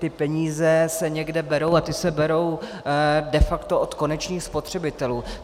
Ty peníze se někde berou a ty se berou de facto od konečných spotřebitelů.